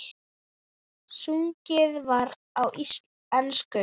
Sungið var á ensku.